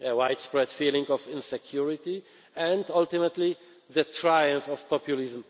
the EU a widespread feeling of insecurity and, ultimately, the triumph of populism